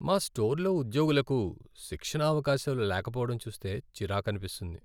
మా స్టోర్లో ఉద్యోగులకు శిక్షణ అవకాశాలు లేకపోవడం చూస్తే చిరాకనిపిస్తుంది.